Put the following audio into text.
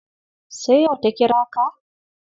Sai yau ta kira ka?